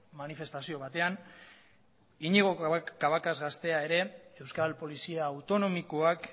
manifestazio batean iñigo cabacas gaztea ere euskal polizia autonomikoak